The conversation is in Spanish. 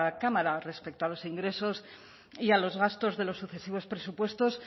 cámara respecto a los ingresos y a los gastos de los sucesivos presupuestos